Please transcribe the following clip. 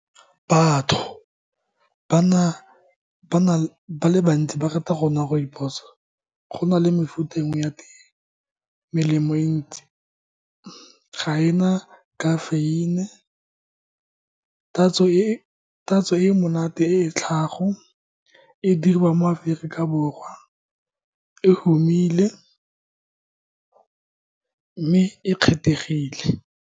Batho ba le bantsi ba rata go nwa Rooibos, go na le mefuta engwe ya tee, melemo e ntsi, ga e na kafeine, tatso e monate e e tlhago e dirwa mo Aforika Borwa. E humile mme e kgethegile.